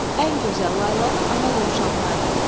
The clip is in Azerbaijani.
Ən gözəl laylanı ana dovşanlar deyir.